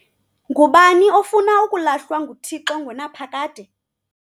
Ngubani ofuna ukulahlwa nguThixo ngonaphakade?